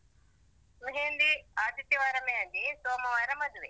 मेहंदी ಆದಿತ್ಯವಾರ मेहंदी ಸೋಮವಾರ ಮದುವೆ.